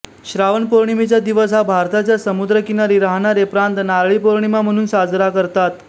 श्रावण पौर्णिमेचा दिवस हा भारताच्या समुद्रकिनारी राहणारे प्रांत नारळी पौर्णिमा म्हणून साजरा करतात